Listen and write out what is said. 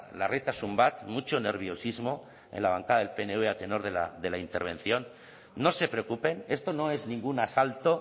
larritasun bat mucho nerviosismo en la bancada del pnv a tenor de la intervención no se preocupen esto no es ninguna asalto